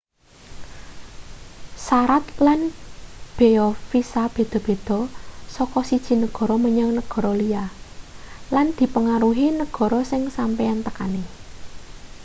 sarat lan beya visa beda-beda saka siji negara menyang negara liya lan dipangaruhi negara sing sampeyan tekani